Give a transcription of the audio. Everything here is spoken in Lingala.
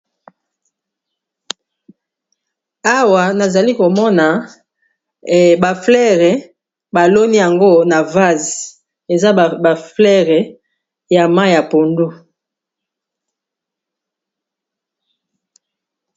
Awa nazali komona ba fleures baloni yango na vase eza ba fleures ya mai ya pondu.